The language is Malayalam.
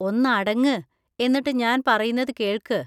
ഒന്നടങ്ങ്, എന്നിട്ട് ഞാൻ പറയുന്നത് കേൾക്ക്.